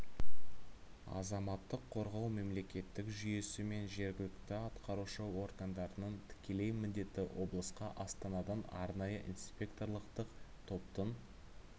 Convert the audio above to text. азаматтық қорғау мемлекеттік жүйесі мен жергілікті атқарушы органдарының тікелей міндеті облысқа астанадан арнайы инспекторлықтық топтың